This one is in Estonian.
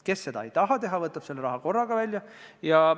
Kes seda teha ei taha, võtab selle raha välja korraga.